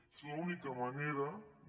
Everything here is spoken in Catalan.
és l’única manera de